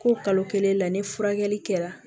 Ko kalo kelen la ni furakɛli kɛra